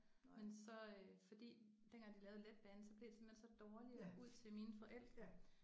Men så fordi dengang de lavede letbanen så blev det simpelthen så dårligt ud til mine forældre